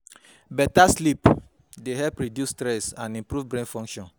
Beta sleep dey help reduce stress and improve brain function